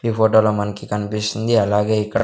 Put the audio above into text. ఈ ఫోటోలో మన్కి కనిపిస్తుంది అలాగే ఇక్కడ--